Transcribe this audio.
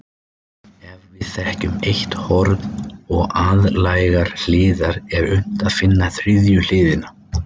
Ef við þekkjum eitt horn og aðlægar hliðar er unnt að finna þriðju hliðina.